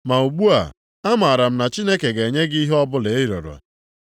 Ma ugbu a, amara m na Chineke ga-enye gị ihe ọbụla ị rịọrọ.”